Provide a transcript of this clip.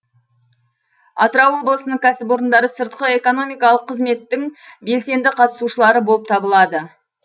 атырау облысының кәсіпорындары сыртқы экономикалық қызметтің белсенді қатысушылары болып табылады